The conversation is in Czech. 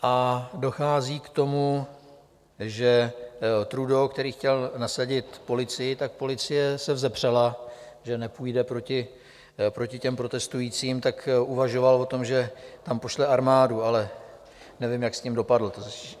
A dochází k tomu, že Trudeau, který chtěl nasadit policii, tak policie se vzepřela, že nepůjde proti těm protestujícím, tak uvažoval o tom, že tam pošle armádu, ale nevím, jak s tím dopadl.